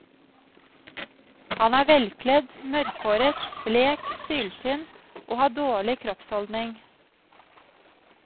Han er velkledd, mørkhåret, blek, syltynn og har dårlig kroppsholdning.